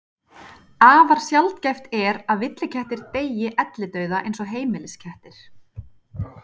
Afar sjaldgæft er að villikettir deyi ellidauða eins og heimiliskettir.